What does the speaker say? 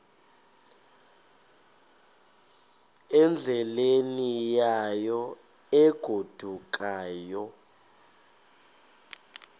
endleleni yayo egodukayo